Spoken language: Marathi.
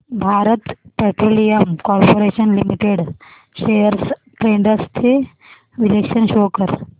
Bharat Petroleum Corporation Limited shares trends चे विश्लेषण शो कर